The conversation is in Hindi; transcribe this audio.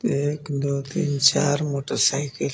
एक दो तीन चार मोटरसाइकिल है।